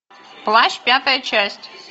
плащ пятая часть